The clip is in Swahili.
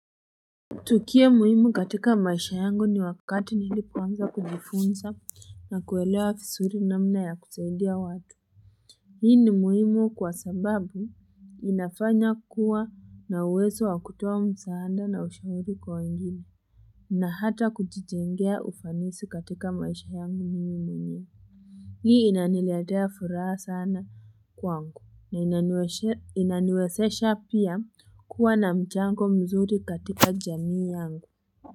Tukio muhimu katika maisha yangu ni wakati nilipoanza kujifunza na kuelewa visuri namna ya kusaidia watu. Hii ni muhimu kwa sababu inafanya kuwa na uwezo wa kutoa msaada na ushauri kwa wengine. Na hata kujijengea ufanisi katika maisha yangu mimi mwenyewe. Hii inaniletea furaha sana kwangu. Na inaniwezesha pia kuwa na mchango mzuri katika jamii yangu.